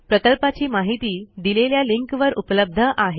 प्रकल्पाची माहिती दिलेल्या लिंकवर उपलब्ध आहे